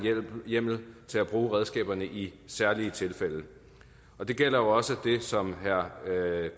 hjemmel til at bruge redskaberne i særlige tilfælde det gælder også det som herre